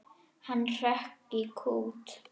Hann hrökk í kút.